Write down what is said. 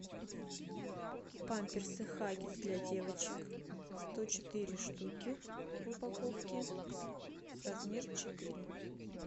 памперсы хаггис для девочек сто четыре штуки в упаковке размер четыре